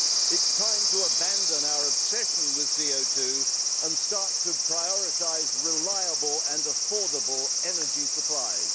It is time to abandon our obsession with CO 2 and start to prioritise reliable and affordable energy supplies.